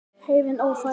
Heiðin ófær?